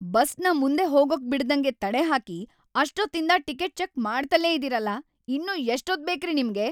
ಬಸ್‌ನ ಮುಂದೆ ಹೋಗೋಕ್‌ ಬಿಡ್ದಂಗೆ ತಡೆಹಾಕಿ ಅಷ್ಟೊತ್ತಿಂದ ಟಿಕೆಟ್‌ ಚೆಕ್ ಮಾಡ್ತಲೇ ಇದೀರಲ್ಲ, ಇನ್ನೂ ಎಷ್ಟೊತ್ತ್‌ ಬೇಕ್ರಿ ನಿಮ್ಗೆ?